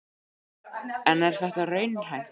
En er það raunhæft?